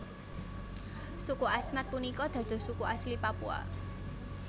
Suku Asmat punika dados suku asli Papua